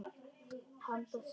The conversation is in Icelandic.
Handa sex til sjö